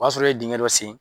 O y'a sɔrɔ e ye dingɛ dɔ sen.